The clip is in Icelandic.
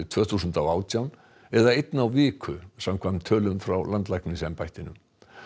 tvö þúsund og átján eða einn á viku samkvæmt tölum frá landlæknisembættinu